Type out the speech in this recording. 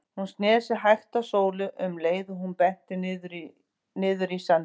Hún sneri sér hægt að Sólu um leið og hún benti niður í sandinn.